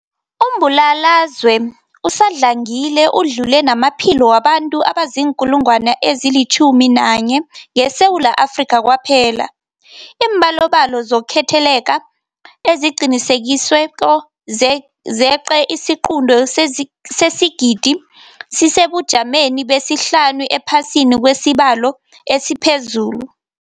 Umbulalazwe usadlangile udlule namaphilo wabantu abaziinkulungwana ezi-11 ngeSewula Afrika kwaphela. Iimbalobalo zokutheleleka eziqinisekisiweko zeqe isiquntu sesigidi, sisesebujameni besihlanu ephasini ngokwesibalo esiphezulu.